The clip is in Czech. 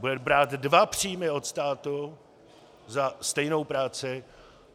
Bude brát dva příjmy od státu za stejnou práci.